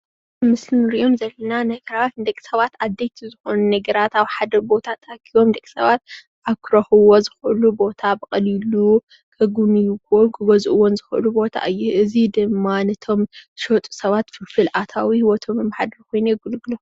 ኣብዚ ምስሊ እንሪኦዘም ዘለና ነገራት ንደቂ ሰባት ዓበይቲ ዝኮኑ ነገራት ኣብ ሓደ ቦታ ተኣኪቦም ደቂ ሰባት ኣብ ክረክብዎ ዝክእሉ ቦታ ብቀሊሉ ክግብንይዎን ክገዝእዎን ዝክእሉ ቦታ እዩ፡፡ እዚ ድማ ነቶም ዝሸጡ ሰባት ፍልፍል ኣታዊኦም ከም ሂወቶም መማሓደሪ ኮይኑ የገልግሎም፡፡